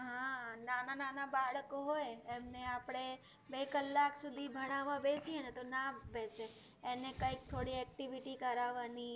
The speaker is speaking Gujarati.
નાના નાના બાળકો હોય એમને આપણે બે કલાક સુધી ભણાવા બેસીએ ને તો ના બેસે. એને કંઈક થોડી activity કરાવાની,